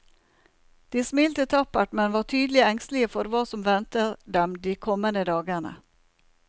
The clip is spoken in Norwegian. De smilte tappert, men var tydelig engstelige for hva som venter dem de kommende dagene.